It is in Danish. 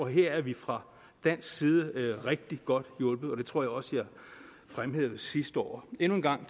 her er vi fra dansk side rigtig godt hjulpet og det tror jeg også jeg fremhævede sidste år endnu en gang